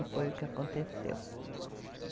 E foi o que aconteceu.